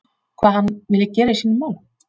Hvað hann vilji gera í sínum málum?